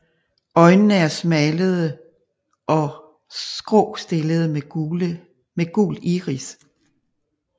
Øjnene er smalle og skråstillede med gul iris